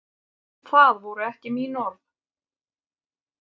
Það voru ekki mín orð.